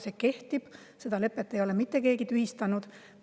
See kehtib, seda lepet ei ole mitte keegi tühistanud.